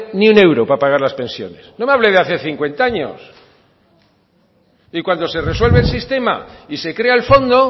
ni un euro para pagar las pensiones no me hable de hace cincuenta años y cuando se resuelve el sistema y se crea el fondo